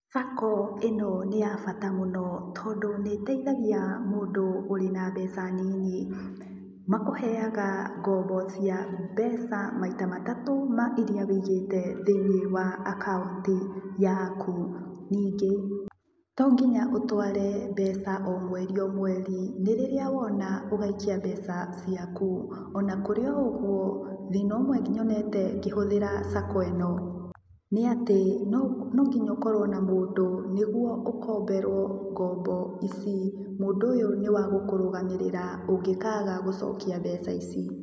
Sacco ĩno nĩ ya bata mũno tondũ nĩiteithagia mũndũ ũrĩ na mbeca nini. Makũheaga ngombo cia mbeca maita matatũ ma iria wĩigĩte thĩini wa akaunti yaku, ningĩ tonginya ũtware mbeca o mweri o mweri, nĩ rĩrĩa wona ũgaikia mbeca ciaku ona kũrĩ o ũguo thina ũmwe nyonete ngĩhũthĩra sacco ĩno nĩ atĩ nonginya ũkorwo na mũndũ nĩguo ũkomberwo ngombo ici. Mũndũ ũyũ nĩ wagũkurugamĩrĩra ũngĩkaga gũcokia mbeca ici.